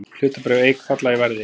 Hlutabréf Eik falla í verði